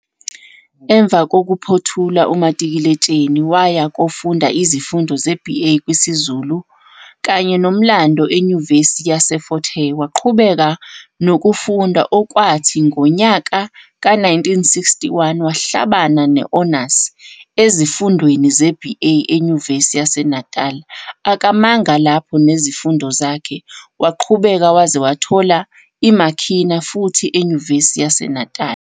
Emva kokuphothula umatikuletsheni waya kofunda izifundo ze-BA kwisiZulu kanyenoMlando eNyuvesi yaseFort Hare. Waqhubeka nokufunda okwathi ngonyaka we-1961 wahlabana ne-honors ezifundweni ze-BA eNyuvesi yaseNatali. Akamanga lapho nezifundo zakhe waqhubeka wazwe wathola i-MA khina futhi eNyuvesi yaseNatali.